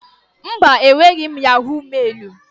Mba, enweghị m yahọ̀g mailụ.